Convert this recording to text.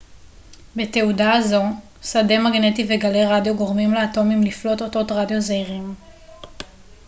בתהודה הזו שדה מגנטי וגלי רדיו גורמים לאטומים לפלוט אותות רדיו זעירים